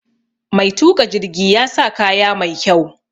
Mai tuƙa jirgi ya sa kaya mai kyau.